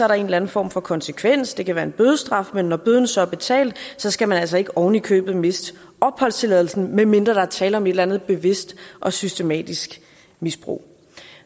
der en eller anden form for konsekvens det kan være en bødestraf men når bøden så er betalt skal man altså ikke oven i købet miste opholdstilladelsen medmindre der er tale om et eller andet bevidst og systematisk misbrug